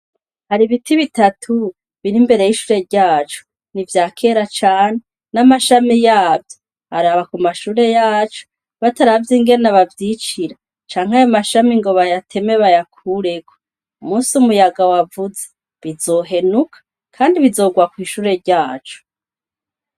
Hari ibiti bitatu biri imbere y'ishure ryacu. Ni ivyakera cane, n'amashami yavyo araba ku mashure yacu. Bataravye ingene bavyicira canke ayo mashami ngo bayateme bayakureko umunsi umuyaga wavuze, bizohenuka kandi bizogwa kw'ishure ryacu.